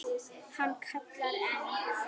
Hann kallar enn.